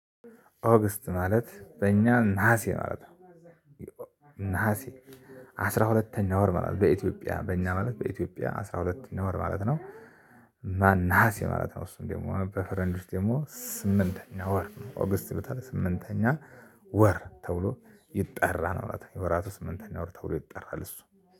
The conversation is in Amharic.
ኦገስት ማለት በእኛ ነሀሴ ማለት ነው። ነሀሴ አስራ ሁለተኛ ወር ማለት ነው። በኢትዮጵያ በእኛ ማለት በኢትዮጵያ አስራ ሁለተኛ ወር ማለት ነው። ማን ነሀሴ ማለት ነው። እሱን ደግሞ በፈረንጆች ደግሞ ስምንተኛ ወር ነው። ኦገስት ይሉታል። ስምንተኛ ወር ተብሎ ይጠራ ማለት ነው። የወራቱ ስምንተኛ ወር ተብሎ ይጠራል። እሱ